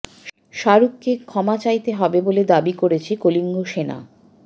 শাহরুখকে ক্ষমা চাইতে হবে বলে দাবি করেছে কলিঙ্গ সেনা